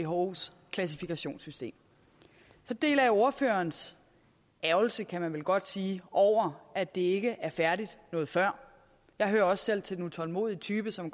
whos klassifikationssystem så deler jeg ordførerens ærgrelse kan man vel godt sige over at det ikke er færdigt noget før jeg hører også selv til den utålmodige type som